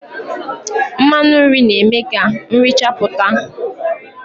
Mmanụ nri na-eme ka nri chapụta.